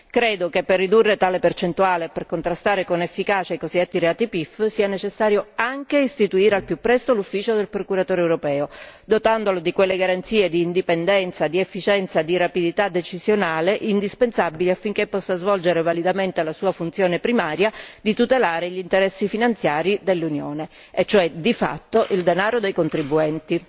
Credo che per ridurre tale percentuale e per contrastare con efficacia i cosiddetti reati PIF sia necessario anche istituire al più presto l'ufficio del Procuratore europeo, dotandolo di quelle garanzie di indipendenza, di efficienza e di rapidità decisionale indispensabili affinché possa svolgere validamente la sua funzione primaria di tutelare gli interessi finanziari dell'Unione e cioè di fatto il denaro dei contribuenti.